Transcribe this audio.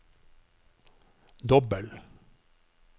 dobbel